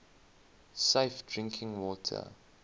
safe drinking water